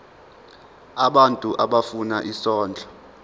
abantu abafuna isondlo